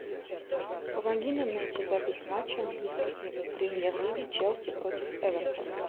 помоги нам найти запись матча английской премьер лиги челси против эвертон